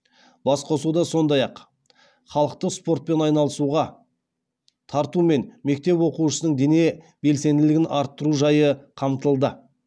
басқосуда сондай ақ халықты спортпен айналысуға тарту мен мектеп оқушысының дене белсенділігін арттыру жайы қамтылды